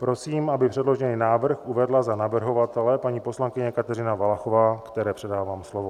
Prosím, aby předložený návrh uvedla za navrhovatele paní poslankyně Kateřina Valachová, které předávám slovo.